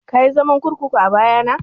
Kayi zaman kurkuku a baya na?